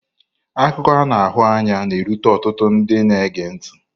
Akụkọ a na-ahụ anya na-erute ọtụtụ ndị na-ege ntị.